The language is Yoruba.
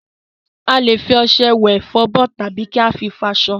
A lè fi ọṣẹ wẹ̀, fọ abọ́, tàbí kí a fi fọ aṣọ.